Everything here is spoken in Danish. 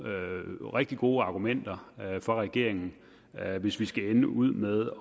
rigtig gode argumenter fra regeringen hvis vi skal ende ud med